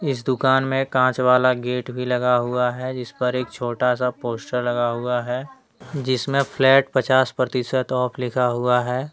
इस दुकान में कांच वाला गेट भी लगा हुआ है जिस पर एक छोटा सा पोस्टर लगा हुआ है जिसमें फ्लैट पच्चास प्रतिशत ऑफ लिखा हुआ है।